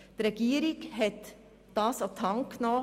Die Regierung hat es an die Hand genommen.